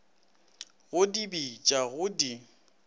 go di beša go di